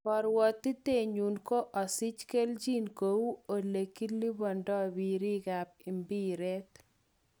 "Korwotite nyun ko osich kelchin kou elekilibodo biriik kap mbiret.